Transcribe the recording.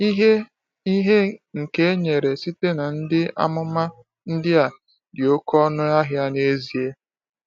Ìhè Ìhè nke e nyere site na ndị amụma ndị a dị oké ọnụ ahịa n’ezie.